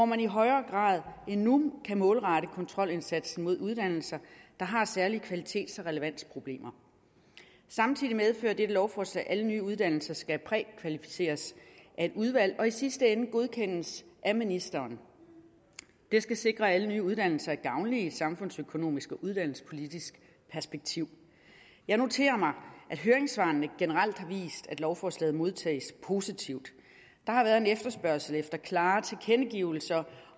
man i højere grad end nu kan målrette kontrolindsatsen mod uddannelser der har særlige kvalitets og relevansproblemer samtidig medfører dette lovforslag at alle nye uddannelser skal prækvalificeres af et udvalg og i sidste ende godkendes af ministeren det skal sikre at alle nye uddannelser er gavnlige set i et samfundsøkonomisk og uddannelsespolitisk perspektiv jeg noterer mig at høringssvarene generelt har vist at lovforslaget modtages positivt der har været en efterspørgsel efter klare tilkendegivelser